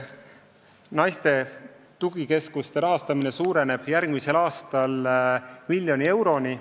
Naiste tugikeskuste rahastamine suureneb järgmisel aastal miljoni euroni.